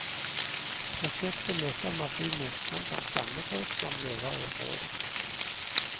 Prosjektet møter massiv motstand blant stammefolk som lever i området.